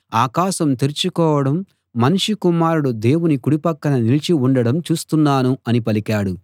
ఆకాశం తెరుచుకోవడం మనుష్య కుమారుడు దేవుని కుడి పక్క నిలిచి ఉండడం చూస్తున్నాను అని పలికాడు